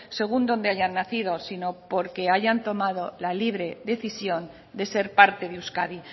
según donde hayan nacido sino porque hayan tomado la libre decisión de ser parte de euskadi